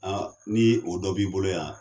ni o dɔ b'i bolo yan.